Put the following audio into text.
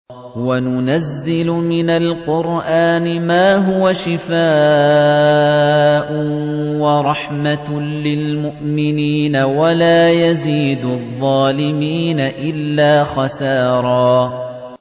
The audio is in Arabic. وَنُنَزِّلُ مِنَ الْقُرْآنِ مَا هُوَ شِفَاءٌ وَرَحْمَةٌ لِّلْمُؤْمِنِينَ ۙ وَلَا يَزِيدُ الظَّالِمِينَ إِلَّا خَسَارًا